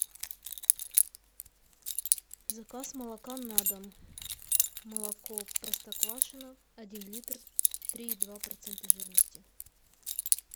заказ молока на дом молоко простоквашино один литр три и два процента жирности